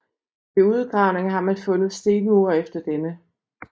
Ved udgravninger har man fundet stenmure efter denne